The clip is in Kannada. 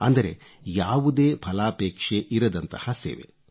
ಅಂದರೆ ಯಾವುದೇ ಫಲಾಪೇಕ್ಷೆ ಇರದಂತಹ ಸೇವೆ